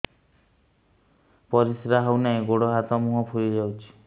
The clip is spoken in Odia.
ପରିସ୍ରା ହଉ ନାହିଁ ଗୋଡ଼ ହାତ ମୁହଁ ଫୁଲି ଯାଉଛି